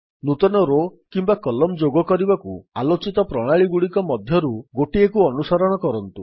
ନୂତନ ରୋ କିମ୍ୱା କଲମ୍ନ ଯୋଗ କରିବାକୁ ଆଲୋଚିତ ପ୍ରଣାଳୀଗୁଡିକ ମଧ୍ୟରୁ ଗୋଟିଏକୁ ଅନୁସରଣ କରନ୍ତୁ